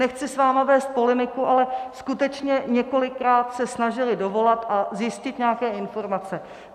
Nechci s vámi vést polemiku, ale skutečně několikrát se snažili dovolat a zjistit nějaké informace.